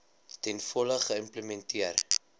ten volle geïmplementeer